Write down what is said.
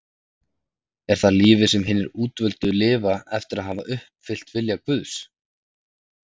Er það lífið sem hinir útvöldu lifa eftir að hafa uppfyllt vilja Guðs?